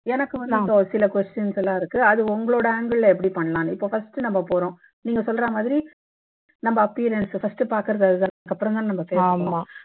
எனக்கு வந்து ஒரு சில questions எல்லாம் இருக்கு அது உங்களோட angle ல எப்படி பண்ணலாம்னு இப்ப first நம்ம போறோம் நீங்க சொல்ற மாதிரி நம்ம appearance first பாக்குறது அதுதான் அப்புறம்தான் நம்ம பேசுவோம்